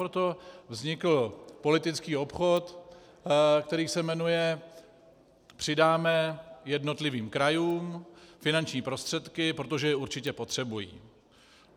Proto vznikl politický obchod, který se jmenuje - přidáme jednotlivým krajům finanční prostředky, protože je určitě potřebují.